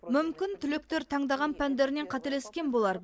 мүмкін түлектер таңдаған пәндерінен қателескен болар